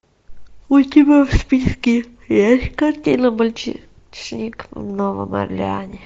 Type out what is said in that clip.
у тебя в списке есть картина мальчишник в новом орлеане